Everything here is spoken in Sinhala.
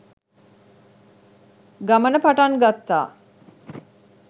ගමන පටන් ගත්තා